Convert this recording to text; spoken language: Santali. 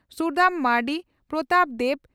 ᱥᱩᱫᱟᱹᱢ ᱢᱟᱨᱱᱰᱤ ᱯᱨᱚᱛᱟᱯ ᱫᱮᱵᱽ